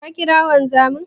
Ka ƙira wanzamin?